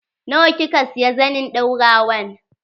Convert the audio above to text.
Nawa kika siya zanin ɗaurawan?